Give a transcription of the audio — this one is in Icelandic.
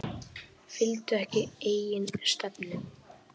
Fylgdu ekki eigin stefnu